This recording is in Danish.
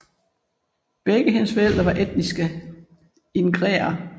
Begge hendes forældre var etniske ingrere